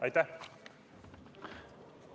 Aitäh!